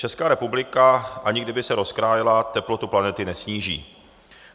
Česká republika, ani kdyby se rozkrájela, teplotu planety nesníží.